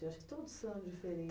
Eu acho que todos são